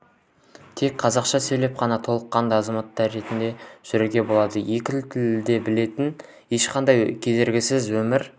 тек қазақша сөйлеп қана толыққанды азамат ретінде жүруге болады екі тілді де біліп ешқандай кедергісіз өмір